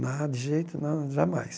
Na de jeito não, jamais.